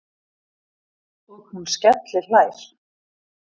Og hún skellihlær.